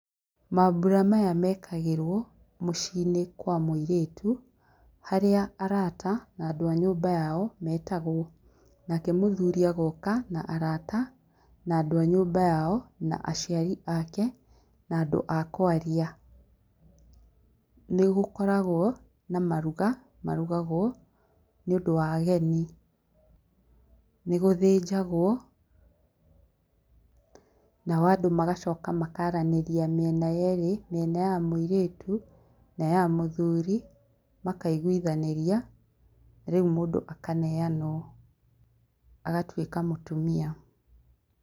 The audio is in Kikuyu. Mabura maya mekagĩrwo mũciĩinĩ kwa mũirĩtu harĩa arata andũ a nyũmba yao metagwo nakee mũthuri agoka na arata na andũ a nyũmba yao na aciari ake na andũ a kwaria. Nĩgũkoragwo na maruga marugagwo nĩũndũ wa ageni, nĩgũthĩjagwo, nao andũ magacoka makaranĩria mĩena ĩrĩ, ya mũĩrĩtu na ya mũthuri makaiguanĩria rĩu mũndũ akaneanwo ,agatũĩka mũtumia.